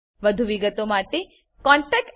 વધુ વિગતો માટે કૃપા કરી contactspoken tutorialorg પર લખો